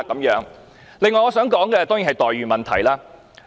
此外，我想說的，當然是待遇問題。